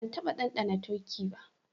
Ban taba dandana turkey ba.